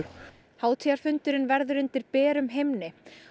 hátíðarfundurinn verður undir berum himni